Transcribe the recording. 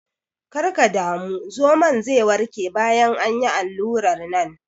Kar ka damu, zomon ze warke bayan an yi allurar nan.